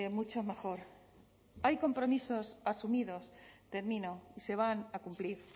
mucho mejor hay compromisos asumidos termino y se van a cumplir